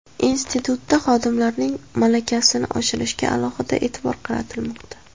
Institutda xodimlarning malakasini oshirishga alohida e’tibor qaratilmoqda.